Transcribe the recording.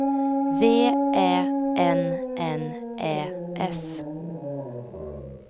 V Ä N N Ä S